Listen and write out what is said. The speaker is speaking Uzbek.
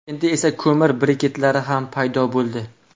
Endi esa ko‘mir briketlari ham paydo bo‘ldi.